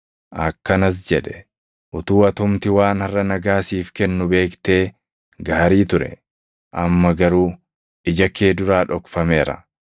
akkanas jedhe; “Utuu atumti waan harʼa nagaa siif kennu beektee gaarii ture! Amma garuu ija kee duraa dhokfameera.